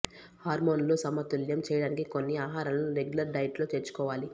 హార్మోనులు సమతుల్యం చేయడానికి కొన్ని ఆహారాలను రెగ్యులర్ డైట్ లో చేర్చుకోవాలి